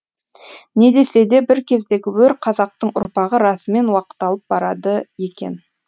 не десе де бір кездегі өр қазақтың ұрпағы расымен уақталып барады екен